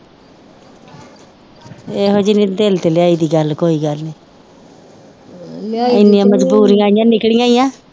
ਦਿਲ ਤੇ ਲੇਆਇਦੀ ਕੋਈ ਗੱਲ ਨੀ ਏਨੀਆਂ ਮਜਬੂਰੀਆਂ ਆਇਆ ਨਿਕਲੀਆਂ ਈ ਆ